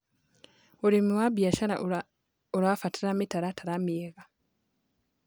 Ũrĩmĩ wa bĩashara ũrabatara mĩtaratara mĩega